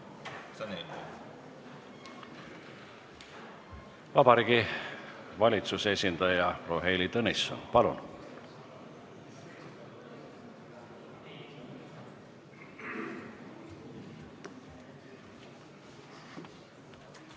Vabariigi Valitsuse esindaja proua Heili Tõnisson, palun!